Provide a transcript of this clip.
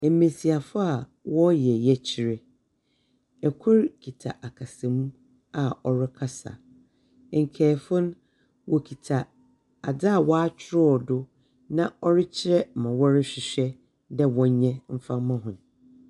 Mbesiafo a wɔreyɛ yɛkyerɛ. Kor kita akasamu a ɔrekasa. Nkaefo no wokita adze a wɔakyerɛw do na ɔrekyerɛ ma wɔrehwehwɛ dɛ wɔnyɛ mfa mma hɔn.